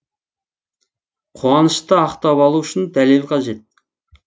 қуанышты ақтап алу үшін дәлел қажет